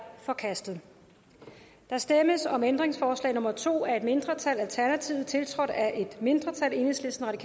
forkastet der stemmes om ændringsforslag nummer to af et mindretal tiltrådt af et mindretal og